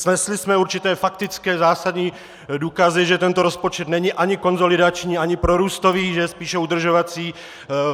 Snesli jsme určité faktické zásadní důkazy, že tento rozpočet není ani konsolidační ani prorůstový, že je spíše udržovací.